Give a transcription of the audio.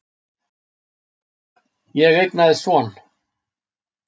Ég eignaðist son.